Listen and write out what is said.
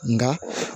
Nka